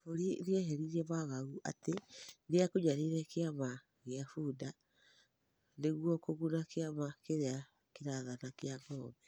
Ngabũri nĩeheretie wagagu atĩ nĩakunyanĩire kĩama gĩa Fuda nĩguo kũguna kĩama kĩrĩa gĩrathana gĩa Ng'ombe.